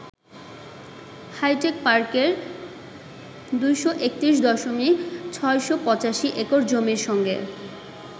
hi tech পার্কের ২৩১.৬৮৫ acre জমির সঙ্গে